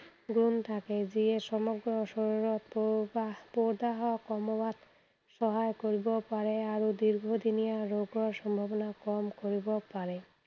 গুণ থাকে, যিয়ে সমগ্ৰ শৰীৰত পদাৰ্থ সম কমোৱাত বা সহায় কৰিব পাৰে আৰু দীৰ্ঘদিনীয়া ৰোগৰ সম্ভাৱনা কম কৰিব পাৰে।